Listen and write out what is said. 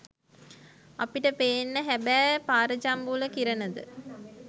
අපිට පේන්නෙ හබෑ පාරජම්බුල කිරණද